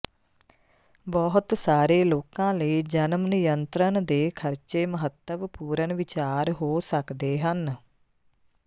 ਬਹੁਤ ਸਾਰੇ ਲੋਕਾਂ ਲਈ ਜਨਮ ਨਿਯੰਤਰਣ ਦੇ ਖਰਚੇ ਮਹੱਤਵਪੂਰਣ ਵਿਚਾਰ ਹੋ ਸਕਦੇ ਹਨ